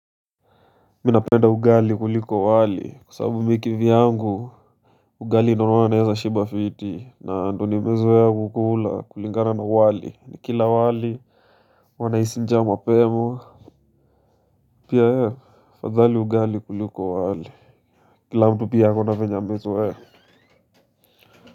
Minapenda ugali kuliko wali kwasabu mikivyangu ugali nohuwa naeza shiba fiti na ndo nimezoea kukula kulingana na wali ni kila wali huwaa nahisi njaa mapema pia afadhali ugali kuliko wali kila mtu pi akona venye amezoea.